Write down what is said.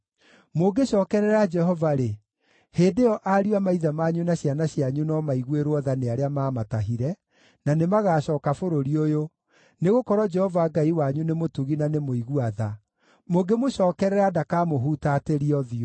Mũngĩcookerera Jehova-rĩ, hĩndĩ ĩyo ariũ a maithe manyu na ciana cianyu no maiguĩrwo tha nĩ arĩa maamatahire, na nĩmagacooka bũrũri ũyũ, nĩgũkorwo Jehova Ngai wanyu nĩ mũtugi na nĩ mũigua tha. Mũngĩmũcookerera ndakamũhutatĩria ũthiũ.”